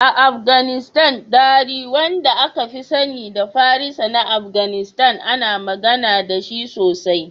A Afganistan, Dari, wanda aka fi sani da Farisa na Afganistan, ana magana da shi sosai.